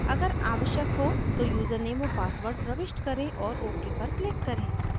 अगर आवश्यक हो तो यूज़रनेम और password प्रविष्ट करें और ok पर click करें